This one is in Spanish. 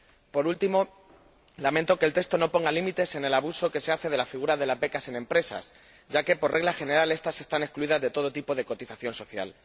Por último, lamento que el texto no ponga límites en cuanto al abuso que se hace de la figura de las becas en empresas, ya que, por regla general, éstas están excluidas de todo tipo de cotización social.